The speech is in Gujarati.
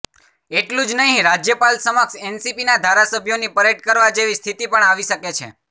એટલું જ નહીં રાજ્યપાલ સમક્ષ એનસીપીના ધારાસભ્યોની પરેડ કરવા જેવી સ્થિતિ પણ આવી શકે છે